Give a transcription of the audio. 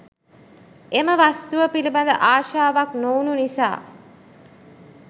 එම වස්තුව පිළිබඳ ආශාවක් නොවුණු නිසා